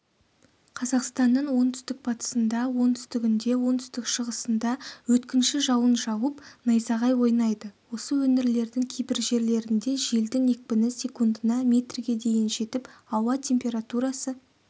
қазақстанның оңтүстік-батысында оңтүстігінде оңтүстік-шығысында өткінші жауын жауып найзағай ойнайды осы өңірлердің кейбір жерлерінде желдің екпіні секундына метрге дейін жетіп ауа температурасы